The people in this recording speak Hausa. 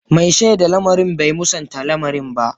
Mai shaida lamarin bai musanta lamarin ba.